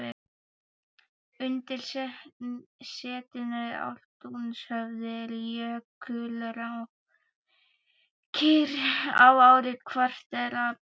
Undir setinu í Ártúnshöfða eru jökulrákir á ár-kvartera berginu.